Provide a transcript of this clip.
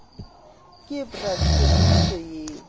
ke bra t tshepiso a